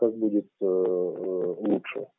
как будет лучше